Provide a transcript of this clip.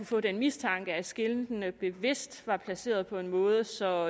få den mistanke at skiltene bevidst har været placeret på en måde så